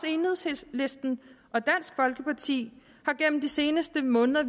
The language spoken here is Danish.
enhedslisten og dansk folkeparti har gennem de seneste måneder